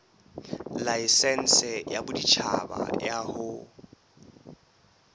laesense ya boditjhaba ya ho